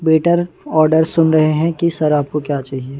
Waiter order सुन रहे हैं कि सर आपको क्या चाहिए।